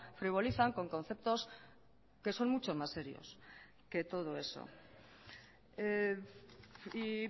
frivolizan con conceptos que son mucho más serios que todo eso y